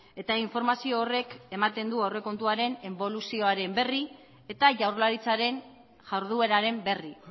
eta informazio horrek ematen du aurrekontuaren eboluzioaren berri eta jaurlaritzaren jardueraren berri